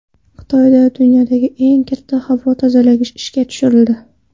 Xitoyda dunyodagi eng katta havo tozalagich ishga tushirildi .